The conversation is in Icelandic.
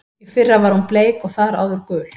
Í fyrra var hún bleik og þar áður gul.